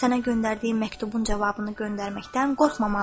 Sənə göndərdiyim məktubun cavabını göndərməkdən qorxmamalı idin.